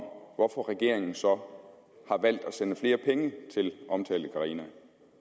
hvorfor regeringen så har valgt at sende flere penge til omtalte carina